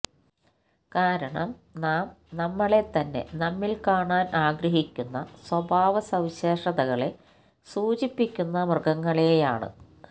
കാരണം നാം നമ്മളെത്തന്നെ നമ്മിൽ കാണാൻ ആഗ്രഹിക്കുന്ന സ്വഭാവസവിശേഷതകളെ സൂചിപ്പിക്കുന്ന മൃഗങ്ങളെയാണ്